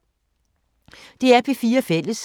DR P4 Fælles